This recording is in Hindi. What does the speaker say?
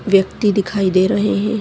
व्यक्ति दिखाई दे रहे है।